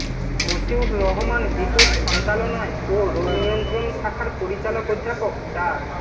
মশিউর রহমান বিটুর সঞ্চালনায় ও রোগনিয়ন্ত্রণ শাখার পরিচালক অধ্যাপক ডা